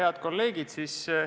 Head kolleegid!